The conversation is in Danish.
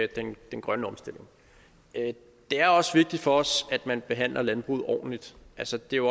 den grønne omstilling det er også vigtigt for os at man behandler landbruget ordentligt altså det er